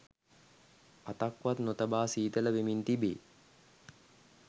අතක්වත් නොතබා සීතල වෙමින් තිබේ